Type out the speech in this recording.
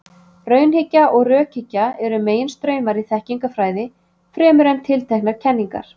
Raunhyggja og rökhyggja eru meginstraumar í þekkingarfræði, fremur en tilteknar kenningar.